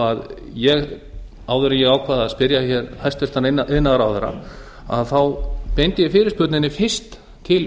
að áður en ég ákvað að spyrja hér hæstvirtur iðnaðarráðherra beindi ég fyrirspurninni fyrst til